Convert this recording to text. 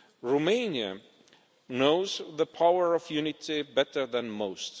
Romania knows the power of unity better than most.